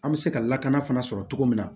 An bɛ se ka lakana fana sɔrɔ cogo min na